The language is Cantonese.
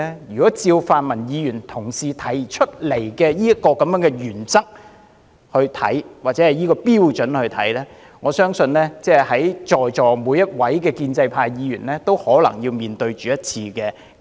如果按照泛民同事提出的原則或標準來看，我相信在席每位建制派議員也可能要面對一次不信任議案。